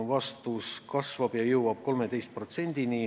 Vastus: see kasvab ja jõuab 13%-ni.